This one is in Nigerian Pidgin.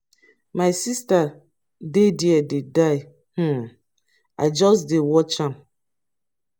my sister dey there dey die um i just dey watch am.